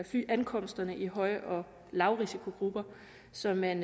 flyankomsterne i høj og lavrisikogrupper så man